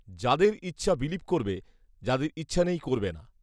যাদের ইচ্ছা বিলিভ করবে, যাদের ইচ্ছা নেই করবে না